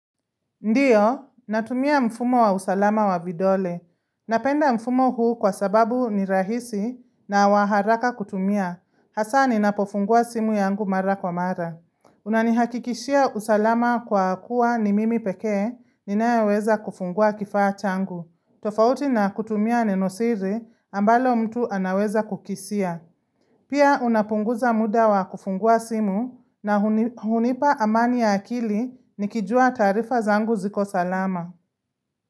Ndiyo, natumia mfumo wa usalama wa vidole. Napenda mfumo huu kwa sababu ni rahisi na wa haraka kutumia. Hasa ninapofungua simu yangu mara kwa mara. Unanihakikishia usalama kwa kuwa ni mimi pekee, ninayeweza kufungua kifaa changu. Tofauti na kutumia nenosiri ambalo mtu anaweza kukisia. Pia unapunguza muda wa kufungua simu na hunipa amani ya akili nikijua taarifa zangu ziko salama.